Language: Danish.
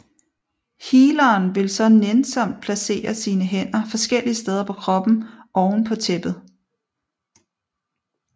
Healeren vil så nænsomt placere sine hænder forskellige steder på kroppen oven på tæppet